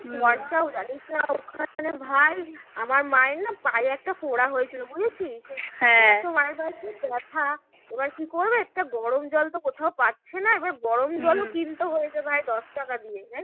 জানিস না ওখানে ভাই আমার মায়ের না পায়ে একটা ফোঁড়া হয়েছিল বুঝেছিস? প্রচুর ব্যাথা এবার কী করবে একটা গরম জল তো কোথাও পাচ্ছে না এবার গরম জলও কিনতে হয়েছে ভাই দশ টাকা দিয়ে।